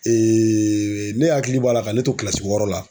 ne hakili b'a la ka ne to wɔɔrɔ la.